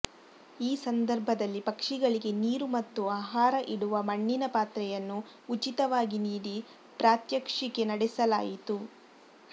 ಈ ಸಂದರ್ಭದಲ್ಲಿ ಪಕ್ಷಿಗಳಿಗೆ ನೀರು ಮತ್ತು ಆಹಾರ ಇಡುವ ಮಣ್ಣಿನ ಪಾತ್ರೆಯನ್ನು ಉಚಿತವಾಗಿ ನೀಡಿ ಪ್ರಾತ್ಯಕ್ಷಿಕೆ ನಡೆಸಲಾಯಿತು